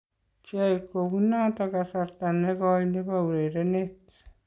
Kiyai kounoto kasarta nekoii nebo urerenet.